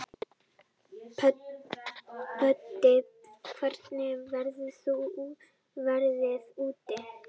Böddi, hvernig er veðrið úti?